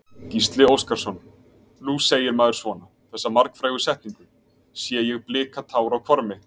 Gísli Óskarsson: Nú segir maður svona, þessa margfrægu setningu, sé ég blika tár á hvarmi?